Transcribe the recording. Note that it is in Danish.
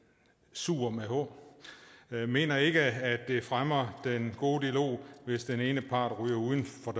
suhr med h mener ikke at det fremmer den gode dialog hvis den ene part ryger uden for